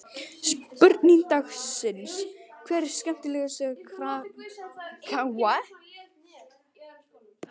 Spurning dagsins: Hver er skemmtilegasti karakterinn í deildinni?